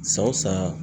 Sa o sa